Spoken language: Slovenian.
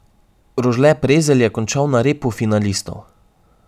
Rožle Prezelj je končal na repu finalistov.